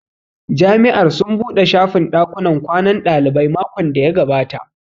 Jami'ar sun buɗe shafin ɗakunnan kwanan ɗalibai makon da ya gabata